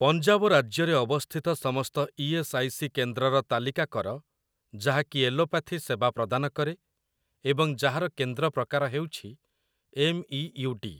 ପଞ୍ଜାବ ରାଜ୍ୟରେ ଅବସ୍ଥିତ ସମସ୍ତ ଇ.ଏସ୍. ଆଇ. ସି. କେନ୍ଦ୍ରର ତାଲିକା କର ଯାହାକି ଏଲୋପାଥି ସେବା ପ୍ରଦାନ କରେ ଏବଂ ଯାହାର କେନ୍ଦ୍ର ପ୍ରକାର ହେଉଛି ଏମ୍ଇୟୁଡି ।